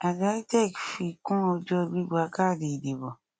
àjọ itec fi kún ọjọ gbígbà káàdì ìdìbò